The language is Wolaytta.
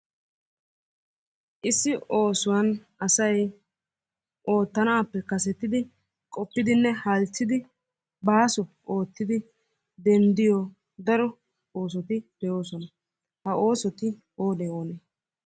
Issi oosuwan asay oottanappe kasettidi qopidinne halchchidi baaso oottidi denddiyo daro oosoti de'oosona. Ha oosoti oonee oonee?